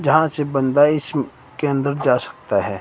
जहाँ से बंदा इसके अंदर जा सकता हैं।